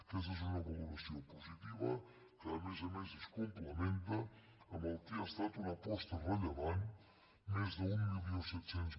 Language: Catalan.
aquesta és una valoració positiva que a més a més es complementa amb el que ha estat una aposta rellevant més d’mil set cents